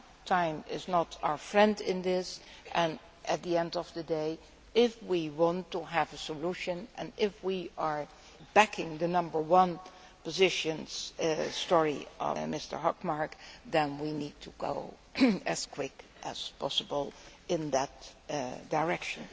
out. Time is not our friend in this and, at the end of the day, if we want to have a solution and if we are backing the number one position called for by Mr Hökmark, then we need to go as quickly as possible in that direction.